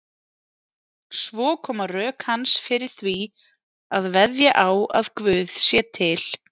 Svo koma rök hans fyrir því að veðja á að Guð sé til.